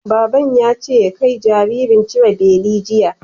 Baban ya ce ya kai jinjirin cire beli, jiya.